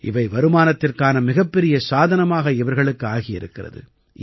இவை வருமானத்திற்கான மிகப்பெரிய சாதனமாக இவர்களுக்கு ஆகியிருக்கிறது